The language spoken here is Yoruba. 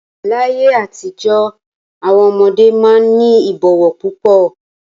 Láyé àtijọ́ àwọn ọmọdé máa ń ní ìbọ̀wọ̀ púpọ̀.